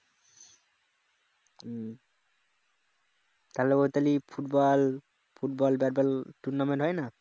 football football bat ball tournament হয়না